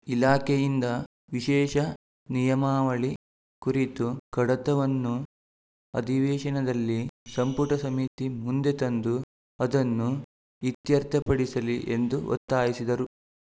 ಇಲಾಖೆಯಿಂದ ವಿಶೇಷ ನಿಯಮಾವಳಿ ಕುರಿತು ಕಡತವನ್ನು ಅಧಿವೇಶನದಲ್ಲಿ ಸಂಪುಟ ಸಮಿತಿ ಮುಂದೆ ತಂದು ಅದನ್ನು ಇತ್ಯರ್ಥಪಡಿಸಲಿ ಎಂದು ಒತ್ತಾಯಿಸಿದರು